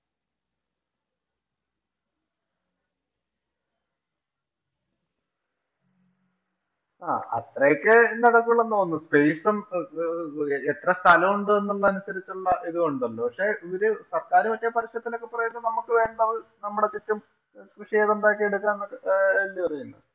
ആഹ് അത്രയൊക്കെ നടക്കൂള്ളൂ എന്ന് തോന്നുന്നു. space ഉം എത്ര സ്ഥലം ഉണ്ട് എന്നനുസരിച്ചുള്ള ഇതും ഉണ്ട്. പക്ഷേ, ഇവര് സര്‍ക്കാര് പക്ഷേ പരസ്യത്തിലൊക്കെ പറയുന്നത് നമുക്ക് വേണ്ടത് നമ്മുടെ ചുറ്റും കൃഷി ചെയ്തു ഉണ്ടാക്കിയെടുക്കാം എന്നൊക്കെ അല്ലിയോ പറയുന്നത്.